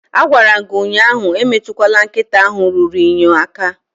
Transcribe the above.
Agwara m gi ụnyahụ emetukwala nkịta ahụ ruru unyi aka